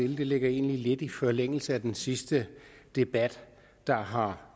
ligger egentlig lidt i forlængelse af den sidste debat der har